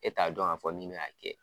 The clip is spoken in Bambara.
E t'a dɔn k'a fɔ min bɛ n'a kɛ